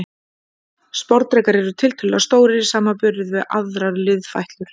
Sporðdrekar eru tiltölulega stórir í samanburði við aðrar liðfætlur.